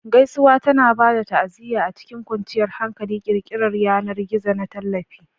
Gaisuwa tana ba da ta'aziyya a cikin kwanciyar hankali, ƙirƙirar yanar gizo na tallafi.